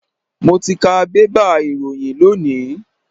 Mo ti ka bébà ìròyìn lónìí.